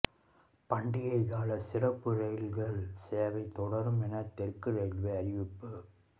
பண்டிகை கால சிறப்பு ரயில்கள் சேவை தொடரும் என தெற்கு ரயில்வே அறிவிப்பு